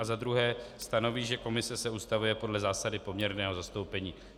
A za druhé: Stanoví, že komise se ustavuje podle zásady poměrného zastoupení.